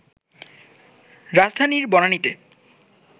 রাজধানীর বনানীতে